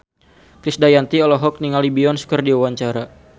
Krisdayanti olohok ningali Beyonce keur diwawancara